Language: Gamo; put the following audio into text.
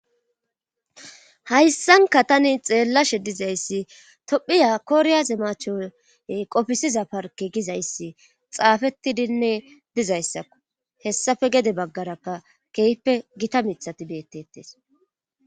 hayssanka tani xeellashe dizayssi tophiya koriyaze mache qofisiza parke gizayssi xaafeti dinne dizayssakku hessafe gede baggarakka keeyippe gita mithati beettettes